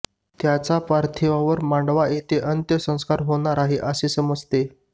त्याच्या पार्थिवावर मांडवा येथे अंत्यसंस्कार होणार आहेत असे समजते